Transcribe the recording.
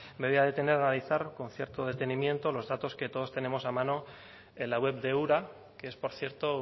me voy a detener a analizar con cierto detenimiento los datos que todos tenemos a mano en la web de ura que es por cierto